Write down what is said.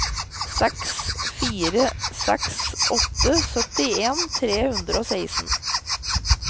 seks fire seks åtte syttien tre hundre og seksten